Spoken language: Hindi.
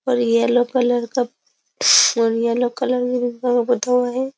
और ये येलो कलर का ये येलो कलर है।